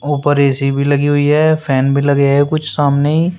ऊपर ए_सी भी लगी हुई है फैन भी लगे है कुछ सामने।